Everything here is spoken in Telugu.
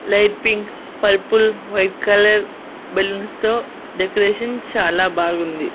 Light pink purple white colour బెలూన్స్తో డెకరేషన్ చాలా బాగుంది.